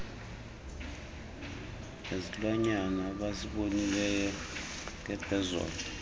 ngesilwanyana abesibonile ngepheezolo